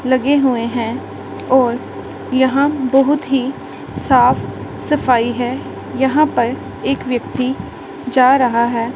लगे हुए हैं और यहां बहोत ही साफ सफाई है यहां पर एक व्यक्ति जा रहा है।